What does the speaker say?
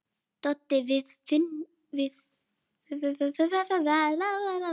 Doddi: Við fúnum.